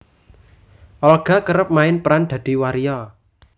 Olga kerep main peran dadi waria